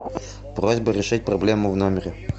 просьба решить проблему в номере